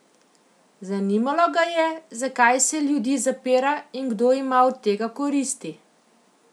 Zanimalo ga je, zakaj se ljudi zapira in kdo ima od tega koristi?